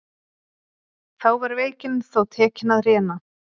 Þá var veikin þó tekin að réna.